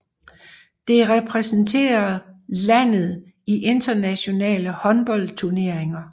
Det repræsenterer landet i internationale håndboldturneringer